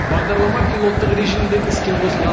бағдарлама пилоттық режимде іске қосылған